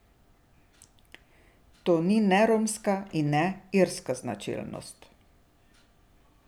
To ni ne romska ne irska značilnost.